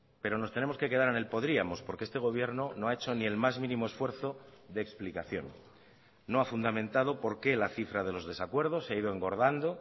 pero nos tenemos que quedar en el podríamos porque este gobierno no ha hecho ni el más mínimo esfuerzo de explicación no ha fundamentado por qué la cifra de los desacuerdos se ha ido engordando